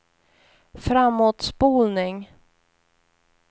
framåtspolning